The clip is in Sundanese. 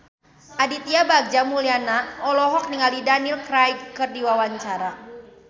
Aditya Bagja Mulyana olohok ningali Daniel Craig keur diwawancara